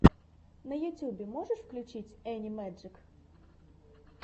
на ютюбе можешь включить энни мэджик